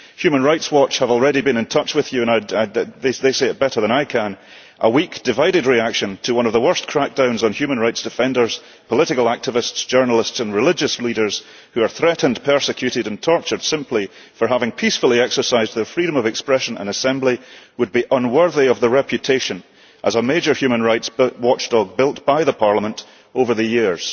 Human Rights Watch has already been in touch with you, and they say it better than I can a weak, divided reaction to one of the worst crackdowns on human rights defenders, political activists, journalists and religious leaders, who are threatened, persecuted and tortured simply for having peacefully exercised their freedom of expression and assembly, would be unworthy of the reputation of a major human rights watchdog built by the Parliament over the years'.